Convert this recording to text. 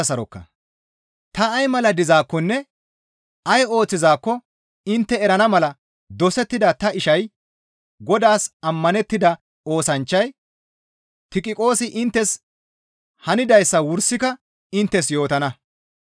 Ta ay mala dizaakkonne ay ooththizaakko intte erana mala dosettida ta ishay Godaas ammanettida oosanchchay Tiqiqoosi inttes hanidayssa wursika inttes yootana.